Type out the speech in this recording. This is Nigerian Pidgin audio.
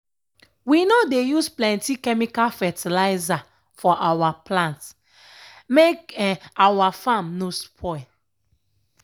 we no dey use plenty chemical fertilizer for awa plant make um awa farm no spoil.